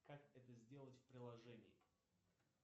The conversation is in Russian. как это сделать в приложении